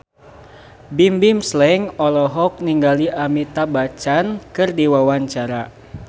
Bimbim Slank olohok ningali Amitabh Bachchan keur diwawancara